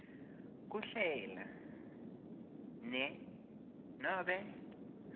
kuhlela ne nobe